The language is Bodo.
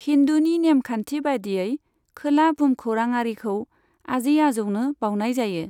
हिन्दुनि नेमखान्थि बायदियै, खोला भुमखौराङारिखौ आजै आजौनो बावनाय जायो।